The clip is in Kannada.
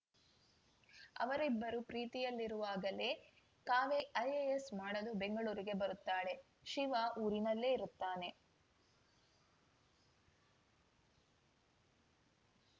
ಅವರಿಬ್ಬರು ಪ್ರೀತಿಯಲ್ಲಿರುವಾಗಲೇ ಕಾವೇರಿ ಐಎಎಸ್‌ ಮಾಡಲು ಬೆಂಗಳೂರಿಗೆ ಬರುತ್ತಾಳೆ ಶಿವ ಊರನಲ್ಲೇ ಇರುತ್ತಾನೆ